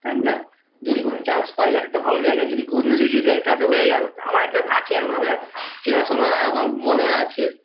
তাইনা যদি কোনো chance পায় একটা ভালো জায়গায় যদি কোনোদিন লেগে যায় তাহলে তো হয়ে গেলো আমার আছে এরকম একটা দাদা চেনাশোনা আমার মনে আছে